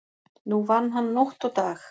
Nú vann hann nótt og dag.